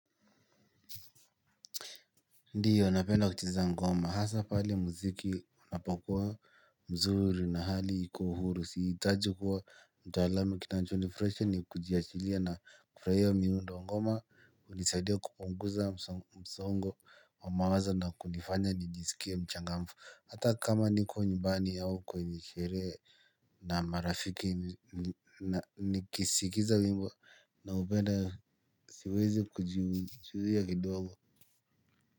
Ndiyo napenda kucheza ngoma hasa pale mziki unapokuwa mzuri na hali iko uhuru siitaji kuwa mtaalam kinachonifraisha ni kujiachilia na kufraia miundo ngoma unisaidia kupunguza msongo wa mawazo na kunifanya nijisikie mchangamfu hata kama niko nyumbani hau kwenye sherehe na marafiki nikisikiza wimbo naupenda siwezi kujizuia kidogo.